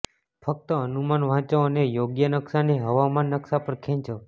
ફક્ત અનુમાન વાંચો અને યોગ્ય નકશાને હવામાન નકશા પર ખેંચો